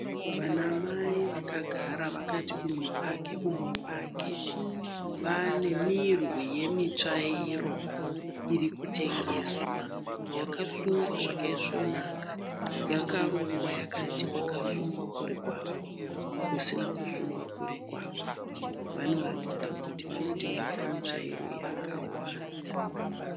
Vanamai vakagara vakati úmwe pake úmwe pake vane mirwi yemitsvairo irikutengeswa . Yakasungwa zvakaisvonaka yakarongwa yakati kwakasungwa kuri kwako kusina kusungwa kuri kwako. Vanoratidza kuti vanotengesa mitsvairo yakawanda.